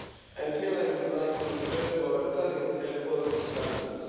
And here I would like to refer to our current air quality standards.